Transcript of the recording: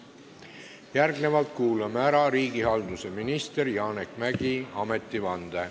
Järgnevalt kuulame ära riigihalduse ministri Janek Mäggi ametivande.